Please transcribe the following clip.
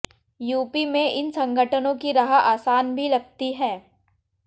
UP में इन संगठनों की राह आसान भी लगती है